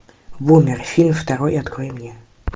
бумер фильм второй открой мне